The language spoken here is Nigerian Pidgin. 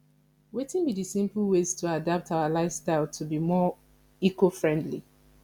wetin be di simple ways to adapt our lifestyle to be more ecofriendly